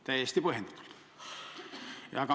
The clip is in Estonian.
Täiesti põhjendatult!